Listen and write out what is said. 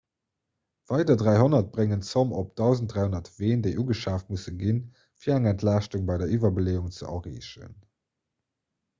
weider 300 bréngen d'zomm op 1 300 ween déi ugeschaaft musse ginn fir eng entlaaschtung bei der iwwerbeleeung ze erreechen